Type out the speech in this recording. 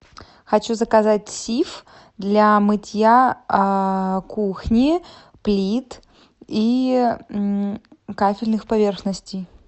хочу заказать сиф для мытья кухни плит и кафельных поверхностей